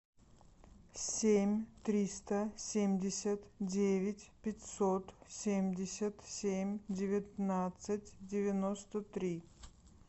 семь триста семьдесят девять пятьсот семьдесят семь девятнадцать девяносто три